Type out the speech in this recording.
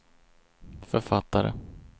författare